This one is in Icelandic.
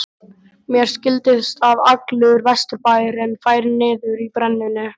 Mér skildist að allur Vesturbærinn færi niður að brennunni.